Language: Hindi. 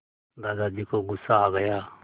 दादाजी को गुस्सा आ गया